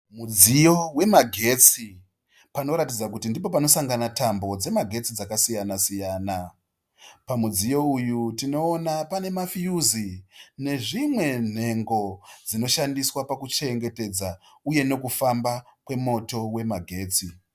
Mudziyo wemagetsi panoratidza kuti ndipoo panosangana tambo dzemagetsi dzakasiyana siyana. Pamudziyo uyu tinoona pane mafiyuzi nezvimwe nhengo dzinoshandiswa pakuchengetedza uye nekufamba kwemoto wemagetsi.